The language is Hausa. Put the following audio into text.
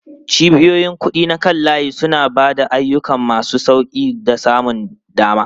Cibiyoyin kuɗi na kan layi suna ba da ayyuka masu sauƙi da samun dama.